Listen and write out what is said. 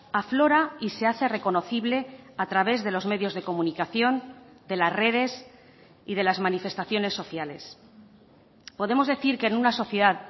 aflora y se hace reconocible a través de los medios de comunicación de las redes y de las manifestaciones sociales podemos decir que en una sociedad